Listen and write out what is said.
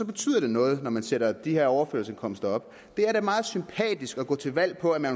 betyder det noget når man sætter de her overførselsindkomster op det er da meget sympatisk at gå til valg på at man